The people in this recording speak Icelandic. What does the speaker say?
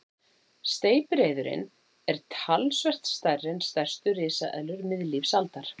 Steypireyðurin er talsvert stærri en stærstu risaeðlur miðlífsaldar.